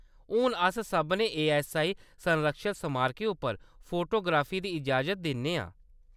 हून अस सभनें एऐस्सआई संरक्षत समारकें उप्पर फोटोग्राफी दी इजाज़त दिन्ने आं।